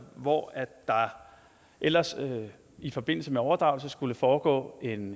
hvor der ellers i forbindelse med en overdragelse skulle foregå en